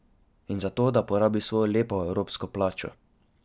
In za to, da porabi svojo lepo evropsko plačo.